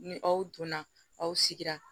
Ni aw donna aw sigira